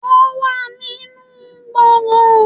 Wọ́n wà nínú gbọ̀ngàn